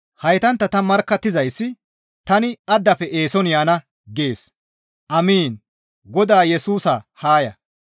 Haytantta ta markkattizayssi, «Tani addafe eeson yaana!» gees. Amiin! Godaa Yesusa haa ya.